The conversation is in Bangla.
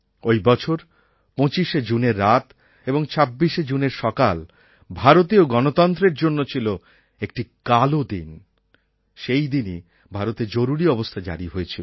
ওই বছর ২৫শে জুনের রাত এবং ২৬শে জুনের সকাল ভারতীয় গণতন্ত্রের জন্য ছিল একটি কালো দিন সেই দিনই ভারতে জরুরী অবস্থা জারি হয়েছিল